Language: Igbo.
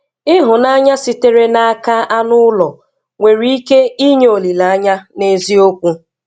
Ịhụnanya sitere n'aka anụ ụlọ nwere ike ịnye olileanya n'eziokwu.